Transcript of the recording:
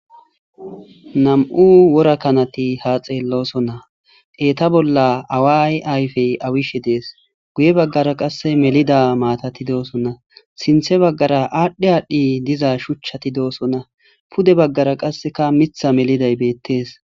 nam7u wora kanati ha xeellosonna eeta bolla away ayfey awishe dees guye baggara qasse melida maatati doosonna sinthe baggara aadhdhi aadhdhi diza shuchchati doosonna pude baggara qasseka mitha meliday beettees